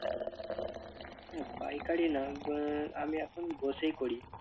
না পাইকারি না আহ আমি এখন বসেই করি।